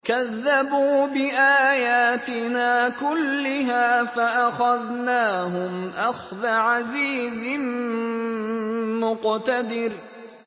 كَذَّبُوا بِآيَاتِنَا كُلِّهَا فَأَخَذْنَاهُمْ أَخْذَ عَزِيزٍ مُّقْتَدِرٍ